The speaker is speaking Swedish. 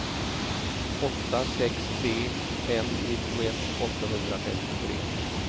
åtta sex tre fem nittioett åttahundrafemtiotre